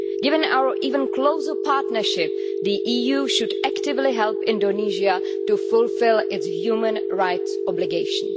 Given our even closer partnership, the EU should actively help Indonesia to fulfil its human rights obligations.